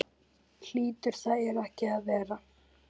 Hlýtur það ekki að vera?